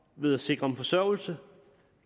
ved at sikre dem forsørgelse